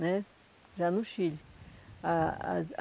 né já no Chile. A as